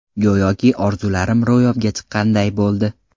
Go‘yoki orzularim ro‘yobga chiqqanday bo‘ldi.